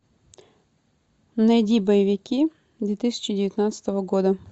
найди боевики две тысячи девятнадцатого года